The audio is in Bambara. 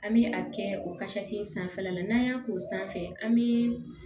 An bɛ a kɛ o kasati in sanfɛla la n'an y'a k'o sanfɛ an bi